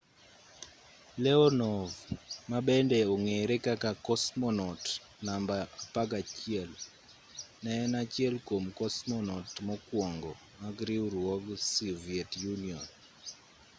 leonov ma bende ong'ere kaka cosmonaut namba 11 ne en achiel kwom cosmonaut mokwongo mag riwruog soviet union